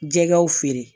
Jɛgɛw feere